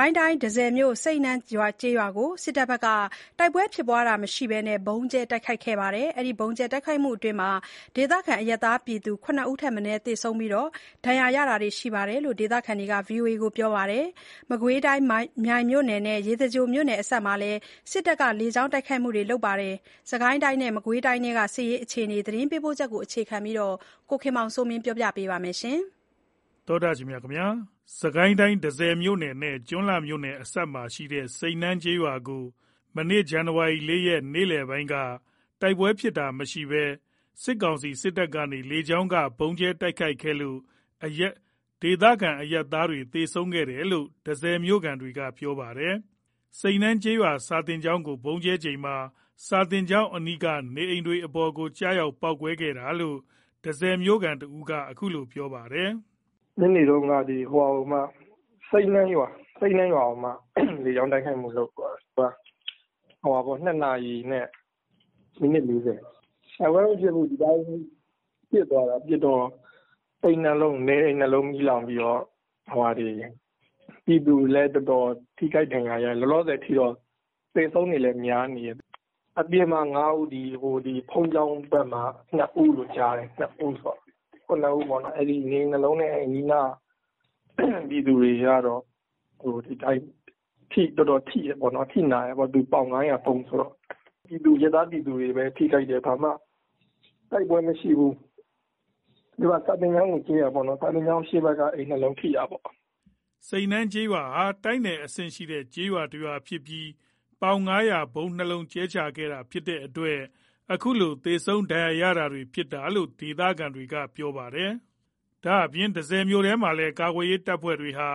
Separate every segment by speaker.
Speaker 1: ိုင်းတိုင်း၊ တန့်ဆည်မြို့၊ စိန်းနန်းကျေးရွာကို စစ်တပ်က တိုက်ပွဲဖြစ်တာမရှိဘဲ ဗုံးကြဲတိုက်ခိုက်ခဲ့တဲ့အတွက် ဒေသခံအရပ်သားဆုံး ၇ ဦးထက်မနည်း သေဆုံးခဲ့ပြီး ဒဏ်ရာရတာတွေရှိတယ်လို့ ဒေသခံတွေကဆိုပါတယ်။ မကွေးတိုင်း၊ မြိုင်မြို့နယ်နဲ့ ရေစကြိုမြို့နယ်အစပ်မှာလည်း စစ်တပ်က လေကြောင်းတိုက်ခိုက်တာတွေ လုပ်ခဲ့ပါသေးတယ်။ စစ်ကိုင်းတိုင်းနဲ့ မကွေးတိုင်းထဲက အခြေအနေတွေအကြောင်း သတင်းပေးပို့ချက်ကို အခြေခံပြီး ကိုခင်မောင်စိုးမင်းက ပြောပြပါမယ်။
Speaker 2: စစ်ကိုင်းတိုင်း၊ တန့်ဆည်မြို့နဲ့ ကျွန်းလှမြို့အစပ်မှာရှိတဲ့ စိန်းနန်းကျေးရွာကို ဇန်နဝါရီ ၄ ရက် နေ့လည်ပိုင်းမှာ စစ်တပ်က တိုက်ပွဲဖြစ်တာမရှိဘဲ လေကြောင်းက ဗုံးကြဲတိုက်ခိုက်ခဲ့လို့ ဒေသခံ အရပ်သားတွေ သေဆုံးခဲ့တယ်လို့ တန့်ဆည်မြို့ခံတွေက ပြောပါတယ်။ စိန်းနန်းကျေးရွာ စာသင်ကျောင်းကို ဗုံးကြဲချိန်မှာ စာသင်ကျောင်းအနီးက နေအိမ်တွေအပေါ် ကျရောက် ပေါက်ကွဲတာလို့ တန့်ဆည်မြို့ခံတဦးက အခုလို ပြောပြပါတယ်။
Speaker 3: “ ညနေတုန်းက စိန်းနန်းရွာကို လေကြောင်း တိုက်ခိုက်မှုလုပ်သွားတယ်၊ နေ့လည် ၂ နာရီနဲ့ မိနစ် ၄၀ မှာ။ တိုက်ပွဲမဖြစ်ဘူး။ ဒီအတိုင်း ပစ်သွားတာ။ ပစ်တော့ နေအိမ် ၂ လုံးမီးလောင်ပြီးတော့ ပြည်သူလည်း တော်တော် ထိခိုက်ဒဏ်ရာရတယ်။ လောလောဆယ်အထိတော့ သေဆုံးတွေလည်း များနေတယ်။ အပြင်မှာ ၅ ဦး၊ ဘုန်းကြီးကျောင်းဘက်မှာက ၂ ဦး လို့ကြားတယ်။ ၇ ဦးပေါ့နော်။ အဲ့နေအိမ် ၂ လုံးနဲ့ အနီးအနားက ပြည်သူတွေကတော့ တော်တော် အထိနာတယ်ပေါ့နော် ပေါင် ၅၀၀ ဗုံးဆိုတော့ အရပ်သား ပြည်သူတွေပဲထိခိုက်တယ်။ ဘာမှတိုက်ပွဲမရှိဘူး
Speaker 2: ။ သ
Speaker 3: ူကစာသင်ကျောင်းကိုကြဲတာ စာသင်ကျောင်းအရှေ့ဘက်က အိမ် ၂ လုံးကိုထိတာ။
Speaker 2: ” စိန်းနန်းကျေးရွာဟာ တိုက်နယ်အဆင့်ရှိတဲ့ ကျေးရွာတရွာဖြစ်ပြီး ပေါင် ၅၀၀ ဗုံး ၂ လုံးကြဲချတာဖြစ်တဲ့အတွက် အခုလို သေဆုံး ဒဏ်ရာရတာတွေ ဖြစ်တာလို့ ဒေသခံတွေကဆိုပါတယ်။ ဒါ့အပြင် တန့်ဆည်မြို့ထဲမှာလည်း ကာကွယ်ရေးတပ်ဖွဲ့တွေဟာ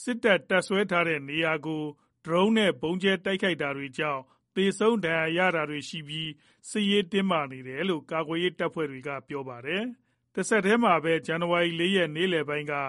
Speaker 2: စစ်တပ် တပ်စွဲထားတဲ့နေရာတွေကို ဒရုန်းနဲ့ ဗုံးကြဲတိုက်ခိုက်တာတွေကြောင့် သေဆုံးဒဏ်ရာရတာတွေရှိပြီး စစ်ရေးတင်းမာနေတယ်လို့ ကာကွယ်ရေးတပ်ဖွဲ့တွေက ပြောပါတယ်။ တဆက်တည်းမှာဘဲ ဇန်နဝါရီ ၄ ရက် နေ့လည်ပိုင်းမှာ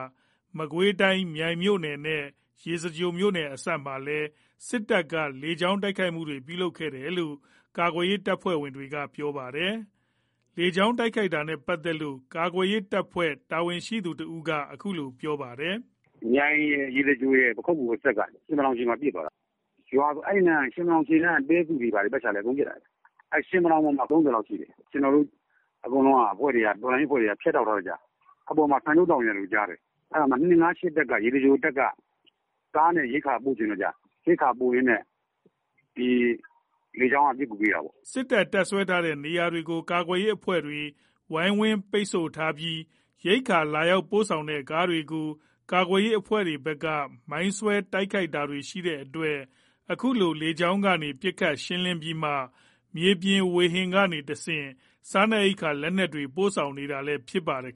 Speaker 2: မကွေးတိုင်း၊ မြိုင်မြို့နယ်နဲ့ ရေစကြိုမြို့နယ်အစပ်မှာလည်း စစ်တပ်ဘက်က လေကြောင်း တိုက်ခိုက်မှုလုပ်ခဲ့တယ်လို့ ကာကွယ်ရေး တပ်ဖွဲ့တွေက ပြောပါတယ်။ လေကြောင်းတိုက်ခိုက်တာနဲ့ ပတ်သက်လို့ ကာကွယ်ရေးတပ်ဖွဲ့ တာဝန်ရှိသူတဦးက အခုလို ပြောပြပါတယ်
Speaker 4: ။ “မြိုင်ရယ်၊ ရေစကြိုရယ်၊ ပခုက္ကူ အစပ်က ရှင်မတောင် မှာ ပစ်သွားတာ။ ရွာဆို အဲ့ ရှင်မတောင် အရှေ့က တဲစုတွေဘာတွေ အကုန်ပစ်သွားတာ။ အဲ့ ရှင်မတောင် ပေါ်မှာ ၃၀ လောက်ရှိတယ်။ ကျွန်တော်တို့ အကုန်လုံး တော်လှန်ရေးအဖွဲ့တွေက ဖြတ်တောက်ထားတော့ကျတော့ အပေါ်မှာ ဆန်ပြုတ်သောက်နေရတယ်လို့ ကြားတယ်။ အဲ့မှာ ၂၅၈ တပ်က ရေစကြိုတပ်က ကားနဲ့ ရိက္ခာပို့ချင်လို့ ရိက္ခာပို့ရင်းနဲ့ လေကြောင်းက ပစ်ကူပေးတာပေါ့။”
Speaker 2: စစ်တပ် တပ်စွဲထားတဲ့နေရာတွေကို ကာကွယ်ရေးအဖွဲ့တွေ ဝိုင်းဝန်းပိတ်ဆို့ထားပြီး ရိက္ခာလာရောက်ပို့ဆောင်တဲ့ ကားတွေကို ကာကွယ်ရေးအဖွဲ့တွေဘက်က မိုင်းဆွဲတိုက်ခိုက်တာတွေ ရှိတဲ့အတွက် အခုလို လေကြောင်းကနေ ပစ်ခတ်ရှင်းလင်းပြီးမှ မြေပြင်ဝေဟင်ကနေ တဆင့် စားနပ်ရိက္ခာ လက်နက်တွေ ပို့ဆောင်နေရတာလည်း ဖြစ်ပါတယ်